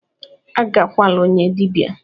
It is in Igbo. "Agakwala onye dibia!"